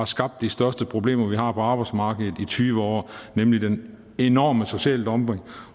skabt de største problemer vi har på arbejdsmarkedet i tyve år nemlig den enorme sociale dumping